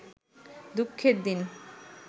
দুঃখের দিন